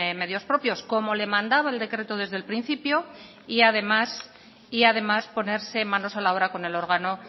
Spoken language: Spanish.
medios propios como le mandaba el decreto desde el principio y además ponerse manos a la obra con el órgano